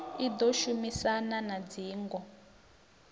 i ḓo shumisana na dzingo